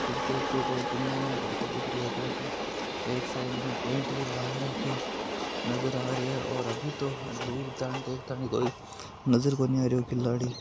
Cricket को कोई tournament होतो दिख रहियो है क्योकि एक साईड में टेंट भी लाग राख्यो नजर आ रहियो है और अभी तो दूर तान ठेठ तानी कोई नजर नही आ रहियो खिलाडी।